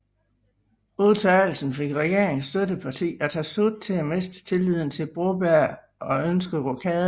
Udtalelsen fik regeringens støtteparti Atassut til at miste tilliden til Broberg og ønske rokaden